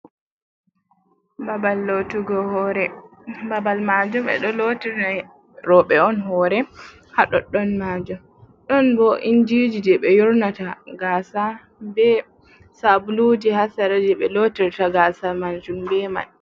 Babal lootugo hoore, babal maajum e ɗo lootina rewɓe on hoore, haa ɗoɗɗon maajum ɗon bo injiiji jey ɓe yornata Gaasa bee saabuluuji haa sera jey ɓe lootirta Gaasa maajum bee man.